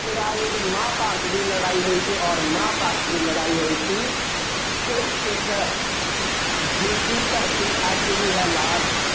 ਦੇ ਰਾਜ ਵਿੱਚ ਮਹਾਂਭਾਰਤ ਦੀ ਲੜਾਈ ਹੋਈ ਸੀ ਅੋਰ ਮਹਾਂਭਾਰਤ ਦੀ ਲੜਾਈ ਹੋਈ ਸੀ ਕੁਰੂਕਸ਼ੇਤਰ ਜਿਸਦੀ ਧਰਤੀ ਅੱਜ ਵੀ ਹੈ ਲਾਲ